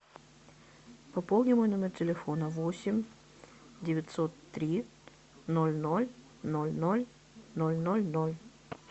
пополни мой номер телефона восемь девятьсот три ноль ноль ноль ноль ноль ноль ноль